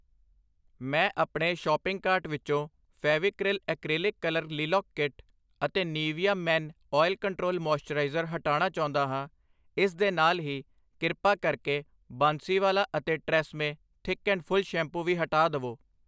ਮੈਂ ਆਪਣੇ shopping cart ਵਿਚੋਂ Fevicryl acrylic colour lilac kit ਅਤੇ ਨੀਵੀਆ ਮੇਨ ਤੇਲ ਕੰਟਰੋਲ ਮਾਇਸਚਰਾਈਜ਼ਰ ਹਟਾਣਾ ਚਾਹੁੰਦਾ ਹਾਂ I ਇਸ ਦੇ ਨਾਲ ਹੀ ਕ੍ਰਿਪਾ ਕਰਕੇ ਬਾਂਸੀਵਾਲਾ ਅਤੇ ਟਰੇਸਏਮਏ ਮੋਟਾ ਅਤੇ ਪੂਰਾ ਸ਼ੈਂਪੂ ਵੀ ਹਟਾ ਦਵੋ I